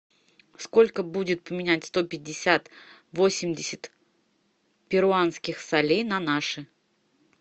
сколько будет поменять сто пятьдесят восемьдесят перуанских солей на наши